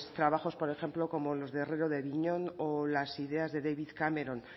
trabajos por ejemplo como los de o las ideas de david cameron